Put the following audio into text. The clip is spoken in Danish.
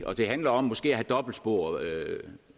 og det handler om måske at have dobbeltspor